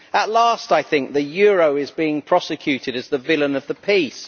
At last I think the euro is being prosecuted as the villain of the piece.